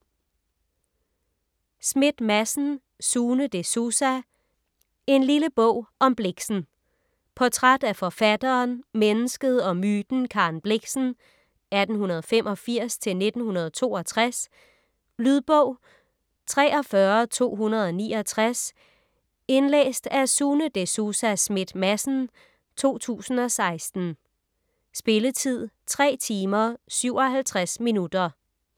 Schmidt-Madsen, Sune De Souza: En lille bog om Blixen Portræt af forfatteren, mennesket og myten Karen Blixen (1885-1962). Lydbog 43269 Indlæst af Sune De Souza Schmidt-Madsen, 2016. Spilletid: 3 timer, 57 minutter.